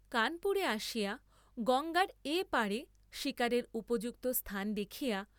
কানপুরে আসিয়া গঙ্গার এ পারে শীকারের উপযুক্ত স্থান দেখিয়।